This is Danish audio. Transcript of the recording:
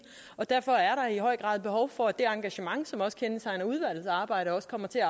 og derfor er der i høj grad behov for at det engagement som kendetegner udvalgets arbejde også kommer til at